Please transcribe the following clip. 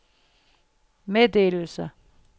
meddelelser